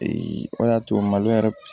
o de y'a to malo yɛrɛ